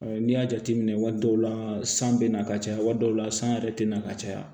n'i y'a jateminɛ waati dɔw la san bɛ na ka caya waati dɔw la san yɛrɛ tɛ na ka caya